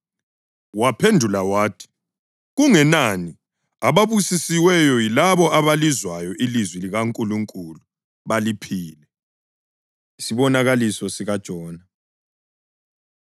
Waphendula wathi, “Kungenani, ababusisiweyo yilabo abalizwayo ilizwi likaNkulunkulu baliphile.” Isibonakaliso SikaJona